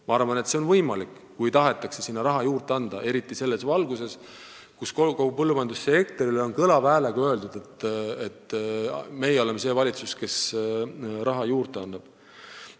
Ma arvan, et see on võimalik, kui tahetakse sinna raha juurde anda – eriti selles valguses, kui kogu põllumajandussektorile on kõlava häälega öeldud, et meie oleme see valitsus, kes raha juurde annab.